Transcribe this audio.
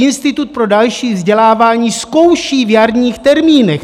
Institut pro další vzdělávání zkouší v jarních termínech!